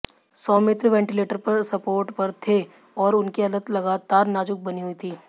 Soumitra ventilator support पर थे और उनकी हालत लगातार नाजुक बनी हुई थी